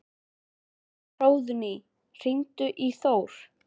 Hróðný, hringdu í Þór.